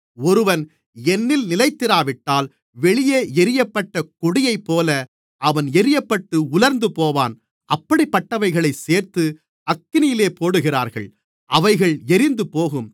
ஒருவன் என்னில் நிலைத்திராவிட்டால் வெளியே எரியப்பட்ட கொடியைப்போல அவன் எரியப்பட்டு உலர்ந்துபோவான் அப்படிப்பட்டவைகளைச் சேர்த்து அக்கினியிலே போடுகிறார்கள் அவைகள் எரிந்துபோகும்